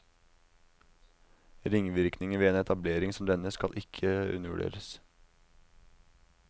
Ringvirkningene ved en etablering som denne skal ikke undervurderes.